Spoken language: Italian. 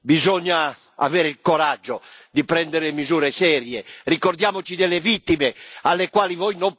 Ricordiamoci delle vittime, alle quali voi non pensate, che oggi soffrono negli ospedali e nei centri di rieducazione.